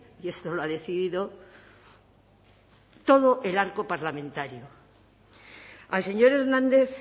y esto lo ha decidido todo el arco parlamentario al señor hernández